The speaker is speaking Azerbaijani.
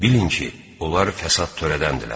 Bilin ki, onlar fəsad törədəndirlər.